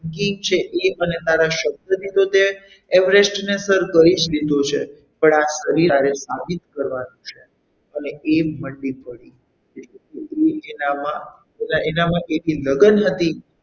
તારા શબ્દની તો તે everest ને તો સર કરી જ લીધો છે પણ આ શરીર સાથે તારી સાબિત કરવાનું છે અને એ મંડી પડી એનામાં એક લગ્ન હતી.